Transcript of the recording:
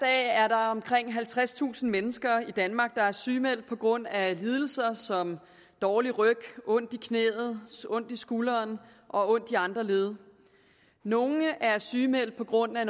er der omkring halvtredstusind mennesker i danmark der er sygemeldt på grund af lidelser som dårlig ryg ondt i knæet ondt i skulderen og ondt i andre led nogle er sygemeldt på grund af